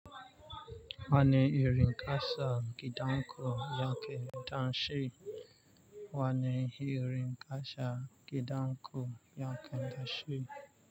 Wa ni irin ƙasa gidanƙo yake dashi. Wa ni irin ƙasa gidanƙo yanke dashe.